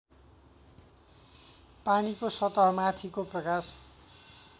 पानीको सतहमाथिको प्रकाश